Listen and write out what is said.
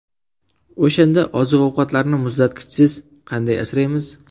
O‘shanda oziq-ovqatlarni muzlatgichsiz qanday asraymiz?